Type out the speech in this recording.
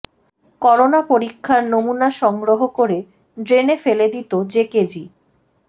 corona পরীক্ষার নমুনা সংগ্রহ করে ড্রেনে ফেলে দিত জেকেজি